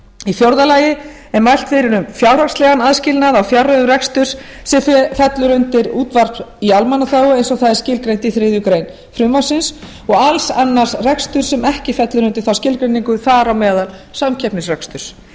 í fjórða lagi er mælt fyrir um fjárhagslegan aðskilnað á fjárreiðum reksturs sem fellur undir útvarp í almannaþágu eins og það er skilgreint í þriðju greinar frumvarpsins og alls annars reksturs sem ekki fellur undir þá skilgreiningu þar á meðal samkeppnisreksturs